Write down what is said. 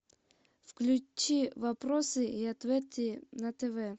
включи вопросы и ответы на тв